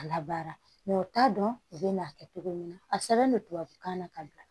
A labaara u t'a dɔn u bɛ n'a kɛ cogo min na a sɛbɛn bɛ tubabukan na ka bila